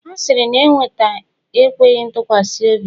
Asịrị na-eweta enweghị ntụkwasị obi